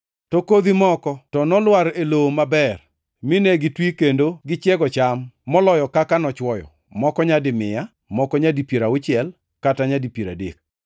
To kodhi moko to nolwar e lowo maber, mine gitwi kendo gichiego cham; moloyo kaka nochwoyo, moko nyadi mia, moko nyadi piero auchiel kata nyadi piero adek.